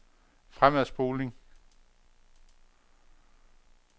fremadspoling